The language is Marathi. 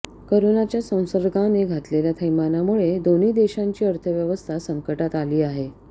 करोनाच्या संसर्गाने घातलेल्या थैमानामुळे दोन्ही देशांची अर्थव्यवस्था संकटात आली आहे